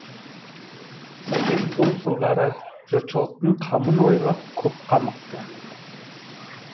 сәкең сол жылдары жұртшылықтың қамын ойлап көп қамықты